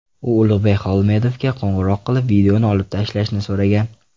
U Ulug‘bek Xolmedovga qo‘ng‘iroq qilib, videoni olib tashlashni so‘ragan.